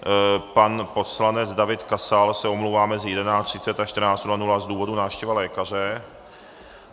Pan poslanec David Kasal se omlouvá mezi 11.30 až 14.00 z důvodu návštěva lékaře.